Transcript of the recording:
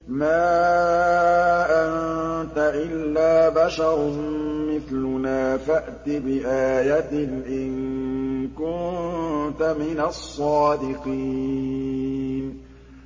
مَا أَنتَ إِلَّا بَشَرٌ مِّثْلُنَا فَأْتِ بِآيَةٍ إِن كُنتَ مِنَ الصَّادِقِينَ